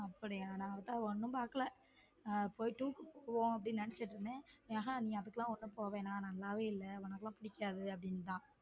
அப்படியா அவதார் ஒன்னும் பாக்கல போயிட்டு போவோம் என்று நினைத்துக்கொண்டு இருந்தேன் நீ அதுக்கு எல்லாம் ஒன்னும் போக வேண்டாம் நல்லாவே இல்ல உனக்கெல்லாம் பிடிக்காது அப்படின்னுட்டான்.